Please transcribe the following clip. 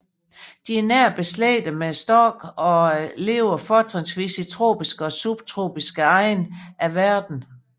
De er nært beslægtet med storkene og lever fortrinsvis i tropiske og subtropiske egne af verden